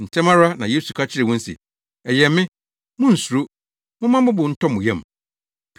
Ntɛm ara na Yesu ka kyerɛɛ wɔn se, “Ɛyɛ me. Munnsuro. Momma mo bo ntɔ mo yam!”